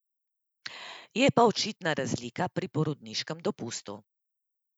Je pa očitna razlika pri porodniškem dopustu.